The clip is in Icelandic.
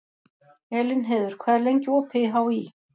Elínheiður, hvað er lengi opið í HÍ?